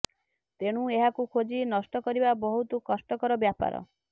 ତେଣୁ ଏହାକୁ ଖୋଜି ନଷ୍ଟ କରିବା ବହୁତ କଷ୍ଟକର ବ୍ୟାପାର